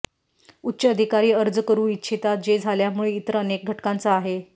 उच्च अधिकारी अर्ज करू इच्छिता जे झाल्यामुळे इतर अनेक घटकांचा आहेत